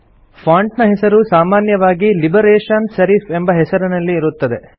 font ನ ಹೆಸರು ಸಾಮಾನ್ಯವಾಗಿ ಲಿಬರೇಷನ್ ಸೆರಿಫ್ ಎಂಬ ಹೆಸರಿನಲ್ಲಿ ಇರುತ್ತದೆ